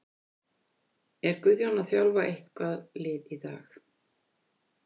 Er Guðjón að þjálfa eitthvað lið í dag?